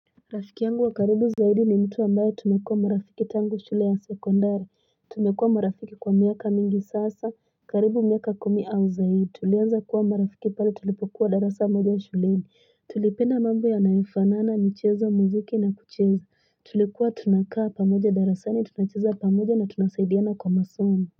Rafiki yangu wakaribu zaidi ni mtu ambayo tumekua marafiki tangu shule ya sekundara tumekua marafiki kwa miaka mingi sasa karibu miaka kumi au zaidi tulianza kuwa marafiki pale tulipokuwa darasa moja ya shule ni tulipenda mambo ya naefanana nicheza muziki na kucheza tulikuwa tunakaa pamoja darasa ni tunacheza pamoja na tunasaidiana kwa masomu.